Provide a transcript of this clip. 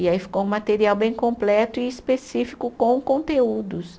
E aí ficou um material bem completo e específico com conteúdos.